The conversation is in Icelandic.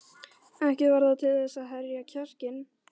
Ekki varð það til þess að herða kjarkinn.